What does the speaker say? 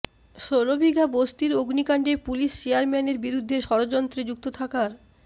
ষোলবিঘা বস্তির অগ্নিকাণ্ডে পুলিস চেয়ারম্যানের বিরুদ্ধে ষড়যন্ত্রে যুক্ত থাকার